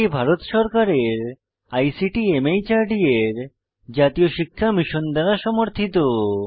এটি ভারত সরকারের ICT MHRD এর জাতীয় শিক্ষা মিশন দ্বারা সমর্থিত